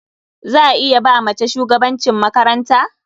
Za a iya ba mace shugabancin makaranta?